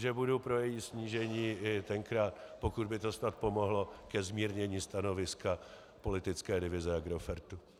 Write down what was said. Že budu pro její snížení i tenkrát, pokud by to snad pomohlo ke zmírnění stanoviska politické divize Agrofertu.